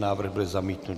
Návrh byl zamítnut.